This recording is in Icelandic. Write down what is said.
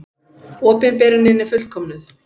Opinberunin er fullkomnuð.